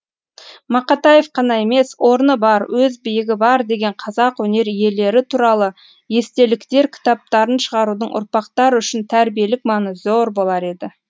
мақатаев қана емес орны бар өз биігі бар деген қазақ өнер иелері туралы естеліктер кітаптарын шығарудың ұрпақтар үшін тәрбиелік мәні зор болар еді